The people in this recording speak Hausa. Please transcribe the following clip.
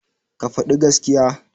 Ka faɗi gaskiya.